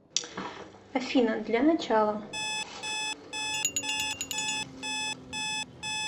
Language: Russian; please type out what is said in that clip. афина для начала